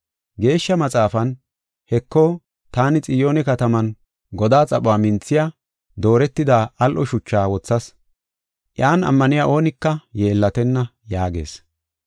Geeshsha Maxaafan, “Heko, taani Xiyoone kataman godaa xaphuwa minthiya, dooretida, al7o shuchaa wothas; iyan ammaniya oonika yeellatenna” yaagees.